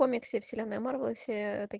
комиксы вселенной марвел и все такие